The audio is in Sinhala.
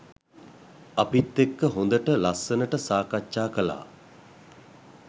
අපිත් එක්ක හොඳට ලස්සනට සාකච්ඡා කළා.